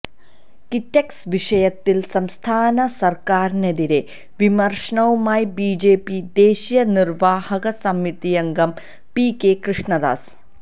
കിറ്റെക്സ് വിഷയത്തില് സംസ്ഥാന സര്ക്കാരിനെതിരെ വിമര്ശനവുമായി ബിജെപി ദേശീയ നിര്വ്വാഹക സമിതിയംഗം പി കെ കൃഷ്ണദാസ്